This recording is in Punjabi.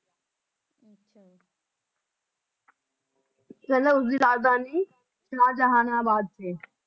ਪਹਿਲਾਂ ਉਸਦੀ ਰਾਜਧਾਨੀ ਸ਼ਾਹਜਹਾਨਾਬਾਦ ਸੀ